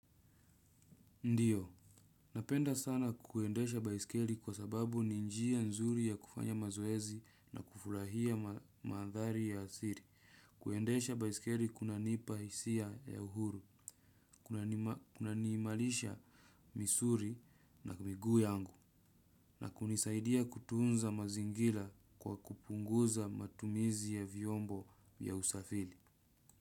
Ndiyo, napenda sana kuendesha baisikeri kwa sababu ni njia nzuri ya kufanya mazoezi na kufurahia madhari ya asili. Kuendesha baisikeri kunanipa hisia ya uhuru, kuna niimarisha misuli na miguu yangu, na kunisaidia kutunza mazingira kwa kupunguza matumizi ya vyombo ya usafili.